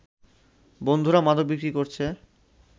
বন্ধুরা মাদক বিক্রি করছে